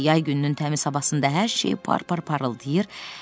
Yay gününün təmiz havasında hər şey par-par parıldayırdı.